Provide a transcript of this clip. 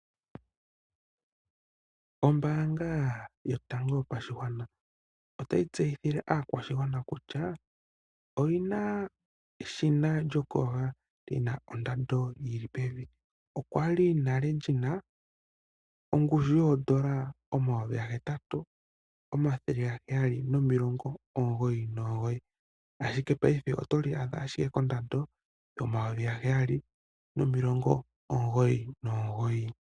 Ombaanga yotango yopashigwana otayi tseyithile aakwashigwana kutya oyi na eshina lyokuyoga li na ondando yi li pevi. Olya li li na ongushu yooN$ 8 799, ashike paife oto li adha ashike kondando yooN$ 7 999.